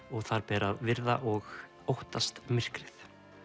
og það ber að virða og óttast myrkrið